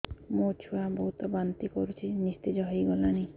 ମୋ ଛୁଆ ବହୁତ୍ ବାନ୍ତି କରୁଛି ନିସ୍ତେଜ ହେଇ ଗଲାନି